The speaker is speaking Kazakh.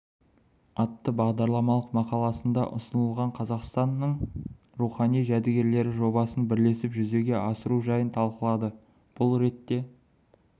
атты бағдарламалық мақаласында ұсынған қазақстанның рухани жәдігерлері жобасын бірлесіп жүзеге асыру жайын талқылады бұл ретте